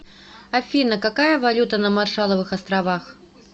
афина какая валюта на маршалловых островах